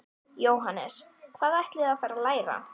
Jóhannes: Hvað ætlið þið að fara að læra?